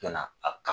Yanna a ka